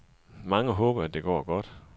Mange håber, at det går godt.